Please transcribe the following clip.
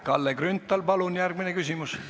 Kalle Grünthal, palun järgmine küsimus!